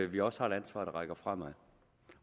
vi også har et ansvar der rækker fremad